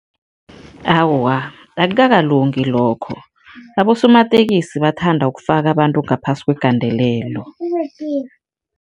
Awa, akukakalungi lokho. Abosomatekisi bathanda ukufaka abantu ngaphasi kwegandelelo.